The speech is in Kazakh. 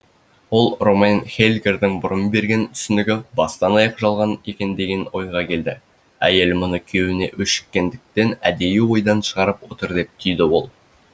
ол ромейн хейлгердің бұрын берген түсінігі бастан аяқ жалған екен деген ойға келді әйел мұны күйеуіне өшіккендіктен әдейі ойдан шығарып отыр деп түйді ол